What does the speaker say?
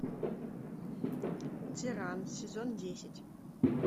тиран сезон десять